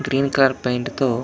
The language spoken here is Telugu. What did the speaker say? గ్రీన్ కలర్ పెయింట్ తో --